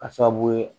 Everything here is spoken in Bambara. K'a sababu ye